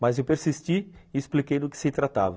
Mas eu persisti e expliquei do que se tratava.